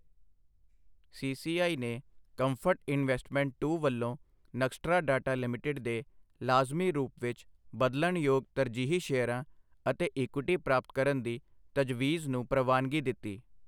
CCI ਨੇ comfort investment two ਵੱਲੋਂ Nxtra data limited ਦੇ ਲਾਜ਼ਮੀ ਰੂਪ ਵਿੱਚ ਬਦਲਣਯੋਗ ਤਰਜੀਹੀ ਸ਼ੇਅਰਾਂ ਅਤੇ ਇਕੁਇਟੀ ਪ੍ਰਾਪਤ ਕਰਨ ਦੀ ਤਜਵੀਜ਼ ਨੂੰ ਪ੍ਰਵਾਨਗੀ ਦਿੱਤੀ